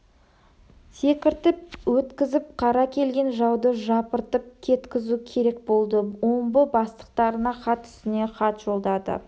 секіртіп өткізіп қарсы келген жауды жапыртып кеткізу керек болды омбы бастықтарына хат үстіне хат жолдады